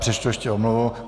Přečtu ještě omluvu.